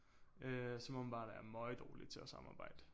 Øh som åbenbart er møgdårlige til at samarbejde